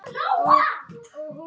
Þá pening sá.